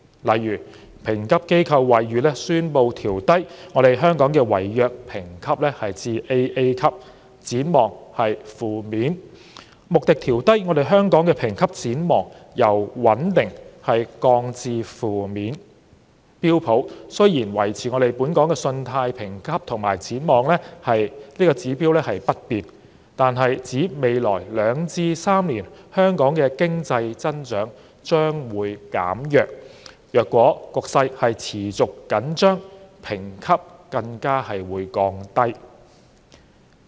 例如，評級機構惠譽國際宣布調低香港的違約評級至 "AA"， 展望為"負面"；穆迪調低香港的評級展望，由"穩定"降至"負面"；標準普爾雖然維持本港信貸評級及展望指標不變，但指出在未來兩至3年香港的經濟增長將會減弱，如果局勢持續緊張，評級更會降低。